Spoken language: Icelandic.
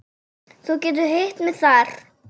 Þú getur hitt mig þar.